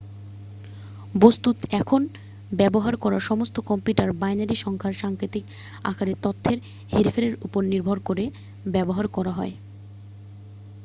বস্তুত এখন ব্যবহার করা সমস্ত কম্পিউটার বাইনারি সংখ্যার সাংকেতিক আকারে তথ্যের হেরফেরের উপর নির্ভর করে ব্যবহার করা হয়